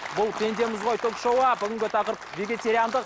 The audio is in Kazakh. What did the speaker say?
бұл пендеміз ғой ток шоуы бүгінгі тақырып вегетариандық